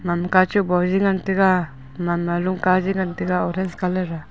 gagman kachu bonye ngan taga gamanma lungka je ngantaga orange colour a.